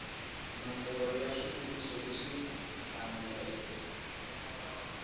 nomboro ya swivutiso leswi faneleke